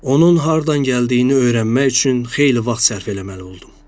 Onun hardan gəldiyini öyrənmək üçün xeyli vaxt sərf eləməli oldum.